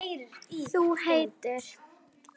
Þú heitir?